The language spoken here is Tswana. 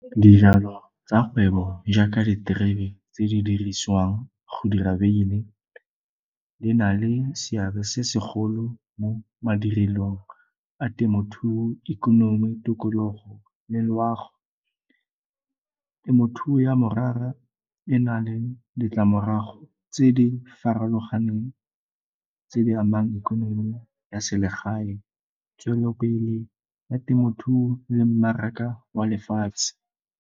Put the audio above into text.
Dijalo tsa kgwebo jaaka diterebe tse di dirisiwang go dira beine e na le seabe se segolo mo madirelong a temothuo, ikonomi, tikologo le loago. Temothuo ya morara e na le ditlamorago tse di farologaneng tse di amang ikonomi ya selegae, tswelelopele ya temothuo le mmaraka wa lefatshe.